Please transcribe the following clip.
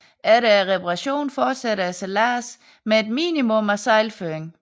Efter reparationen fortsætter sejladsen med et minimum af sejlføring